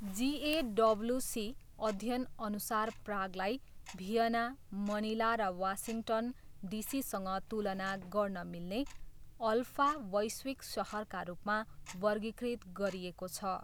जिएडब्ल्युसी अध्ययनअनुसार प्रागलाई Vienna, Manila र वासिङ्गटन, डिसीसँग तुलना गर्न मिल्ने, ''अल्फा'' वैश्विक सहरका रूपमा वर्गीकृत गरिएको छ।